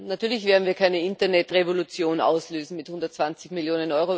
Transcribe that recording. Natürlich werden wir keine Internetrevolution auslösen mit 120 Mio.